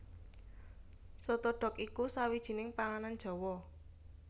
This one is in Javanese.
Soto dhok iku sawijining panganan Jawa